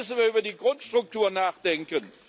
Deshalb müssen wir über die Grundstruktur nachdenken.